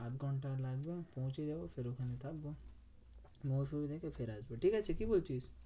আধঘন্টা লাগবে পৌঁছে যাবো সেরকম থাকবো। ফিরে আসবো। ঠিকাছে কি বলছিস?